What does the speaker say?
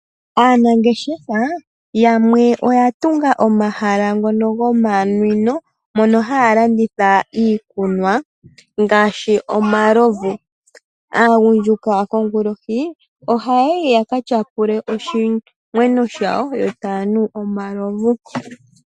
Aanangeahefa yamwe oyatunga omahala gomanwino ngono haya landitha ngaashi omalovu .Aagundjuka kongulohi oha yayi yakatyapule oshimwenyo shawo yo tayanu omalovu.